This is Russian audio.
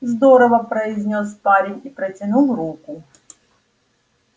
здорово произнёс парень и протянул руку